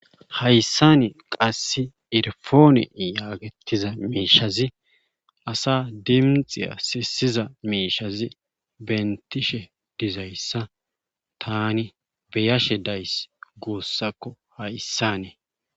hayssani qasse irfoone yaagettiza miishazi asa dimxiya sisiza miishazi bentishe dizayssa tani beyashe days guussakko hayssanee